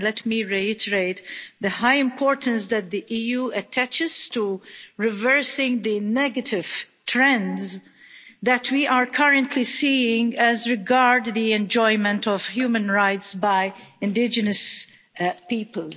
And let me reiterate the high importance that the EU attaches to reversing the negative trends that we are currently seeing as regards the enjoyment of human rights by indigenous people.